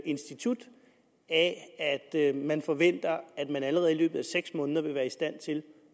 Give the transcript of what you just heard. institut af at man forventer at de allerede i løbet af seks måneder vil være i stand til